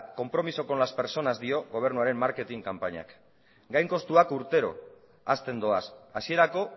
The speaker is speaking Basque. compromiso con las personas dio gobernuaren marketing kanpainak gain kostuak urtero hazten doaz hasierako